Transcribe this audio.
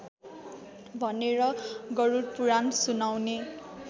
भनेर गरुडपुराण सुनाउने